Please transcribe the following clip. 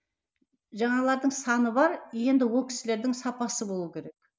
жаңағылардың саны бар енді ол кісілердің сапасы болу керек